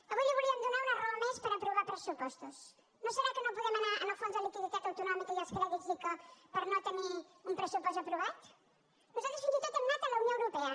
avui li volíem donar una raó més per aprovar pressupostos no serà que no podem anar al fons de liquiditat autonòmica i els crèdits ico perquè no tenim un pressupost aprovat nosaltres fins i tot hem anat a la unió europea